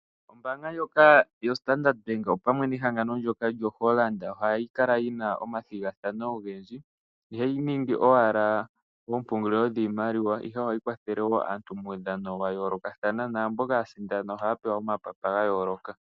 Ombaanga ndjoka yostandard bank opamwe nehangano lyo Hollarnd ohai kala yina omathigathano, ihayi ningi owala oompungulilo dhiimaliwa ihe ohayi kwathele aantu muudhano wa yoolokathana, naa mboka ya sindana ohaa pewa omapapa ga yooloka.